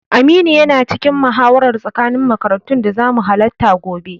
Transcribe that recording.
Aminu yana cikin muhawarar tsakanin makarantun da zamu halatta gobe.